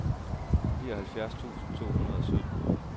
nioghalvfjerds tusind to hundrede og sytten